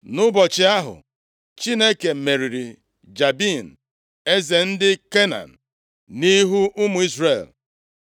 Nʼụbọchị ahụ, Chineke meriri Jabin, eze ndị Kenan nʼihu ụmụ Izrel.